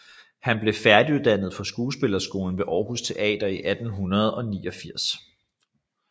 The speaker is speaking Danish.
Han blev færdiguddannet fra Skuespillerskolen ved Aarhus Teater i 1989